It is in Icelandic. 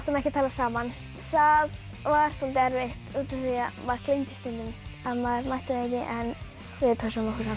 ekki tala saman það var soldið erfitt því maður gleymdi stundum að maður mætti það ekki en við pössuðum okkur samt